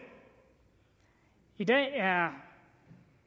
i dag er